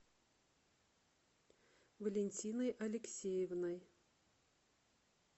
валентиной алексеевной